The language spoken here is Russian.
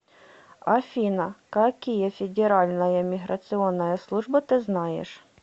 афина какие федеральная миграционная служба ты знаешь